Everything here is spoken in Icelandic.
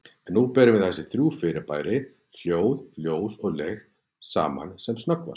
En berum nú þessi þrjú fyrirbæri, hljóð, ljós og lykt, saman sem snöggvast.